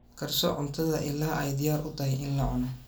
Karso cuntada ilaa ay diyaar u tahay in la cuno.